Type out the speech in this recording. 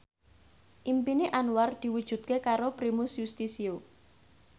impine Anwar diwujudke karo Primus Yustisio